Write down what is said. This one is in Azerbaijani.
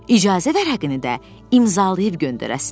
İcazə vərəqini də imzalayıb göndərəsiniz.